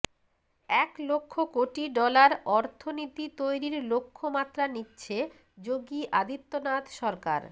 এক লক্ষ কোটি ডলার অর্থনীতি তৈরির লক্ষ্যমাত্রা নিচ্ছে যোগী আদিত্যনাথ সরকার